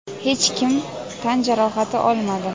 hech kim tan jarohati olmadi.